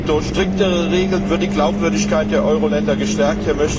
Durch striktere Regeln wird die Glaubwürdigkeit der Euro Länder gestärkt.